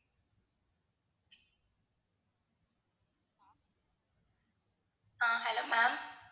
ah hello ma'am